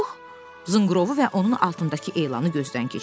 Pux zınqrovu və onun altındakı elanı gözdən keçirdi.